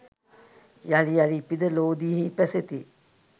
යළි යළි ඉපිද ලෝදියෙහි පැසෙති.